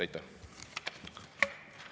Aitäh!